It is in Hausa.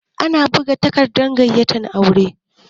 Ana buga takardar gayyatar aure